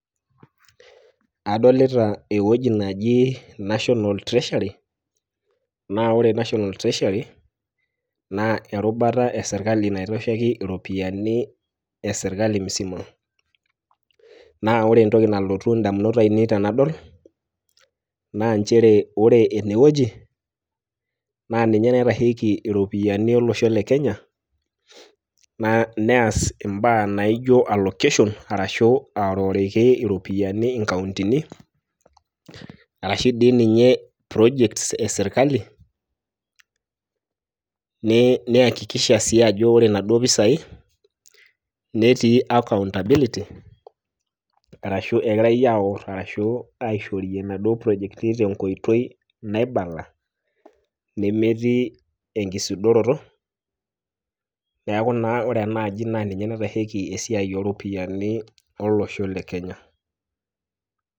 Adolita ewueji naji National Treasury, na ore National Treasury, na erubata esirkali naitasheki iropiyiani esirkali musima. Na ore entoki nalotu indamunot ainei tenadol, naa njere ore enewueji, na ninye naitasheki iropiyiani olosho le Kenya, nees imbaa naijo allocation, arashu aoriworiki iropiyiani inkauntini, arashu dii ninye project eserkali, neakikisha si ajo ore naduo pisai, netii accountability ,arashu egirai aor arashu aishorie nadio projekti tenkoitoi naibala, nemetii enkisudoroto, neeku naa ore enaaji na ninye naitasheki esiai oropiyiani olosho le Kenya.